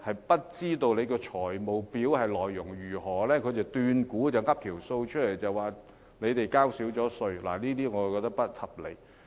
不知財務報表的內容便胡亂推猜帳目，指中小企少交稅款，這些我覺得不合理。